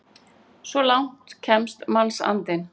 Svo langt kemst mannsandinn!